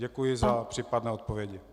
Děkuji za případné odpovědi.